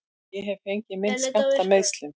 Ég hef fengið minn skammt af meiðslum.